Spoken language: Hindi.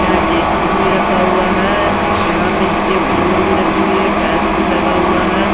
यहाँ डेसबीन भी रखा हुआ है यहाँ पे नीचे फ्लूर भी रखी हुई है टाइल्स भी लगा हुआ है।